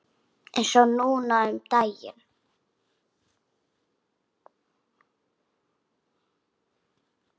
Eins og núna um daginn.